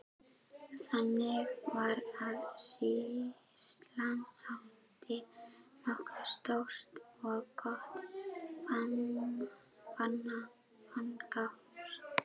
Þannig var að sýslan átti nokkuð stórt og gott fangahús.